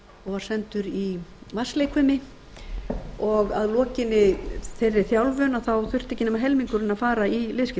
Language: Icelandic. var sendur í vatnsleikfimi og að lokinni þeirri þjálfun þurfti ekki nema helmingurinn að fara í liðskiptaaðgerðina